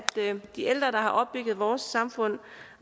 de ældre der har opbygget vores samfund